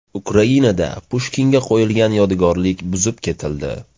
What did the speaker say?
Ukrainada Pushkinga qo‘yilgan yodgorlik buzib ketildi.